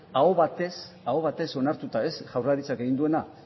aho batez onartuta ez jaurlaritzak egin duena